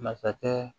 Masakɛ